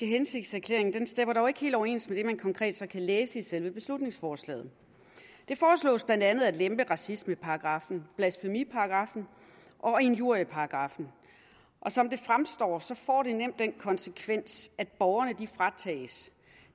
hensigtserklæring stemmer dog ikke helt overens med det man så konkret kan læse i selve beslutningsforslaget det foreslås blandt andet at lempe racismeparagraffen blasfemiparagraffen og injurieparagraffen og som det fremstår får det nemt den konsekvens at borgerne fratages